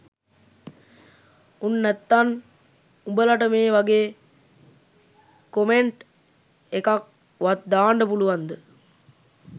උන් නැත්තන් උඹලට මේ වගේ කොමෙන්ට් එකක් වත් දාන්ඩ පුලුවන්ද